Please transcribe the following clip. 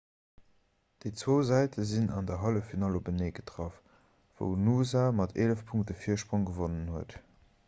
déi zwou säite sinn an der halleffinall openee getraff wou noosa mat 11 punkte virsprong gewonnen huet